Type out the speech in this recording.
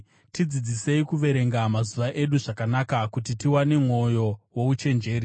Tidzidzisei kuverenga mazuva edu zvakanaka, kuti tiwane mwoyo wouchenjeri.